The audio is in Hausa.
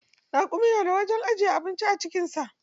Raƙumi na da wajen ajiye abinci a cikin sa.